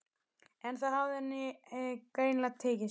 En það hafði henni greinilega tekist